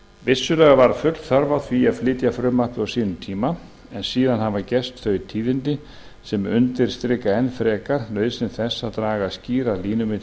vissulega var full þörf á því að flytja frumvarpið á sínum tíma en síðan hafa gerst þau tíðindi sem undirstrika enn frekar nauðsyn þess að draga skýrar línur milli